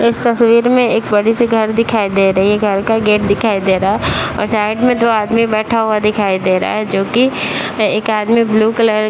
इस तस्वीर में एक बड़ी सी घर दिखाई दे रही है घर का गेट दिखाई दे रहा है और साइड में दो आदमी बैठा हुआ दिखाई दे रहा है जो कि एक आदमी ब्लू कलर --